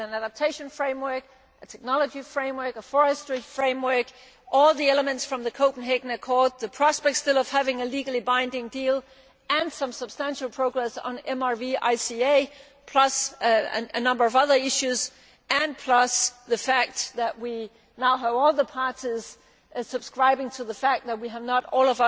An adaptation framework, a technology framework, a forestry framework, all the elements from the Copenhagen Accord, the prospect of still having a legally binding deal and some substantial progress on MRV ICA and a number of other issues, plus the fact that we now have all parties subscribing to the view that we have not all